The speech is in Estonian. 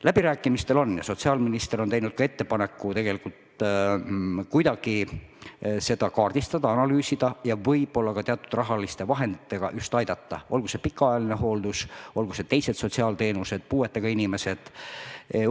Läbirääkimised käivad ja sotsiaalminister on teinud ka ettepaneku kuidagi seda kaardistada, analüüsida ja võib-olla ka teatud rahaliste vahenditega aidata – olgu see pikaajaline hooldus, olgu teised sotsiaalteenused, puuetega inimesed jne.